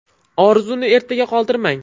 Orzuni ertaga qoldirmang.